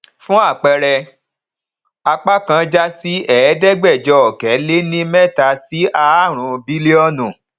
fún àpẹẹrẹ apá kan já sí ẹẹdẹgbẹjọ ọkẹ le ní mẹta sí ààrún bílíọnù